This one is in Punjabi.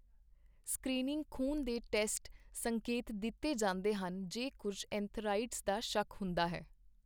ਸਕ੍ਰੀਨਿੰਗ ਖੂਨ ਦੇ ਟੈਸਟ ਸੰਕੇਤ ਦਿੱਤੇ ਜਾਂਦੇ ਹਨ ਜੇ ਕੁੱਝ ਐਂਥੀਰਾਈਡਜ਼ ਦਾ ਸ਼ੱਕ ਹੁੰਦਾ ਹੈ।